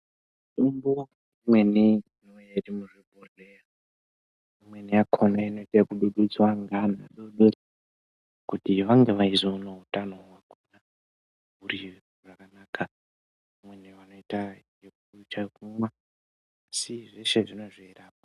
Mutombo imweneinouya iri muzvibhedhlera imweni yakona inoite ekudududzwa ngeantu kuti vangevaizoona utano hwakura huri hwakanaka amweni anoite yekucha kumwa asi zveshe zvinenga zveirapa.